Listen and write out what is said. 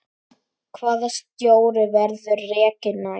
Hvaða stjóri verður rekinn næst?